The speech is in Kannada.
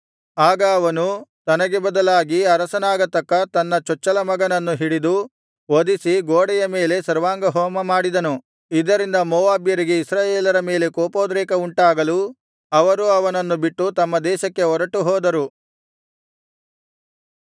ಆಗ ಅವನು ತನಗೆ ಬದಲಾಗಿ ಅರಸನಾಗತಕ್ಕ ತನ್ನ ಚೊಚ್ಚಲಮಗನನ್ನು ಹಿಡಿದು ವಧಿಸಿ ಗೋಡೆಯ ಮೇಲೆ ಸರ್ವಾಂಗಹೋಮ ಮಾಡಿದನು ಇದರಿಂದ ಮೋವಾಬ್ಯರಿಗೆ ಇಸ್ರಾಯೇಲರ ಮೇಲೆ ಕೋಪೋದ್ರೇಕ ಉಂಟಾಗಲು ಅವರು ಅವನನ್ನು ಬಿಟ್ಟು ತಮ್ಮ ದೇಶಕ್ಕೆ ಹೊರಟುಹೋದರು